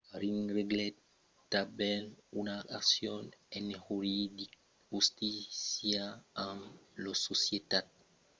ring reglèt tanben una accion en justícia amb la societat concurrenta de seguretat l’adt corporation